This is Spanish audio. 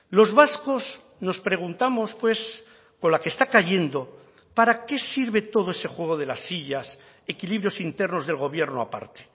los vascos nos preguntamos pues con la que está cayendo para qué sirve todo ese juego de las sillas equilibrios internos del gobierno aparte